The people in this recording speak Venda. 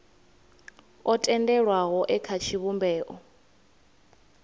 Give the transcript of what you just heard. o tendelwaho e kha tshivhumbeo